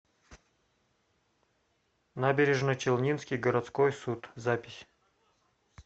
набережночелнинский городской суд запись